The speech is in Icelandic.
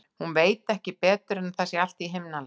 Hún sem veit ekki betur en að allt sé í himnalagi.